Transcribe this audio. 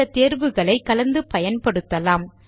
இந்த தேர்வுகளை கலந்து பயன்படுத்தலாம்